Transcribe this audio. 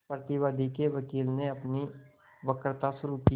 प्रतिवादी के वकील ने अपनी वक्तृता शुरु की